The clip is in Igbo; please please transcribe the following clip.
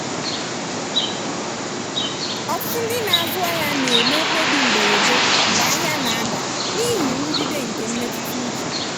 ọtụtụ ndị na-azụ ahịa na-eme mkpebi mberede mgbe ahịa na-ada n'ihi nrụgide nke mmetụta uche.